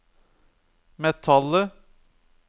metallet